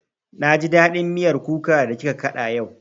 Na ji daɗin miyar kuka da kika kaɗa yau